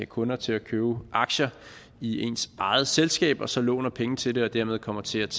kunder til at købe aktier i ens eget selskab og så låner penge til det og dermed kommer til at